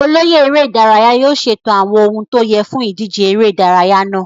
Olóyè eré ìdárayá yóò ṣètò àwọn ohun tó yẹ fún ìdíje ère ìdárayá náà.